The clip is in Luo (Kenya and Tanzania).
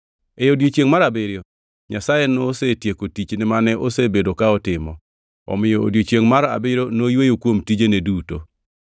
E odiechiengʼ mar abiriyo Nyasaye nosetieko tichne mane osebedo ka otimo; omiyo odiechiengʼ mar abiriyo noyweyo kuom tijene duto.